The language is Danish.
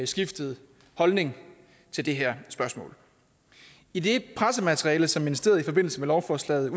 skiftet holdning til det her spørgsmål i det pressemateriale som ministeriet udsendte i forbindelse med lovforslaget